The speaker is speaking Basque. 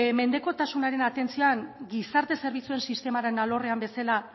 mendekotasunaren atentzioan gizarte zerbitzuen sistemaren alorrean bezala